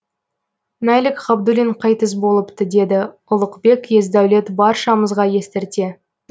мәлік ғабдуллин қайтыс болыпты деді ұлықбек есдәулет баршамызға естірте